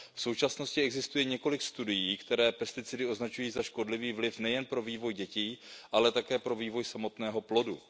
V současnosti existuje několik studií, které vliv pesticidů označují za škodlivý nejen pro vývoj dětí, ale také pro vývoj samotného plodu.